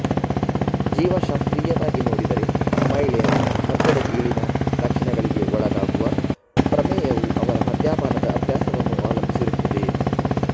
ಜೀವಶಾಸ್ತ್ರೀಯವಾಗಿ ನೋಡಿದರೆ ಮಹಿಳೆಯರು ಮದ್ಯದ ಗೀಳಿನ ಲಕ್ಷಣಗಳಿಗೆ ಒಳಗಾಗುವ ಪ್ರಮೇಯವು ಅವರ ಮದ್ಯಪಾನದ ಅಭ್ಯಾಸವನ್ನು ಅವಲಂಬಿಸಿರುತ್ತದೆ